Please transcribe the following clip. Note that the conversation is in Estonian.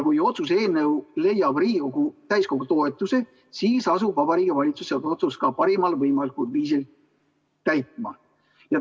Kui otsuse eelnõu leiab Riigikogu täiskogu toetuse, siis asub Vabariigi Valitsus seda otsust ka parimal võimalikul viisil täitma.